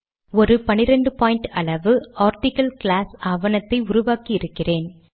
ஒரு 12பிட் அளவு ஆர்டிக்கிள் கிளாஸ் ஆவணத்தை உருவாக்கி இருக்கிறேன்